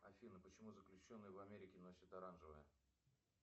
афина почему заключенные в америке носят оранжевое